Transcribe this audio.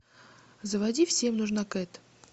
заводи всем нужна кэт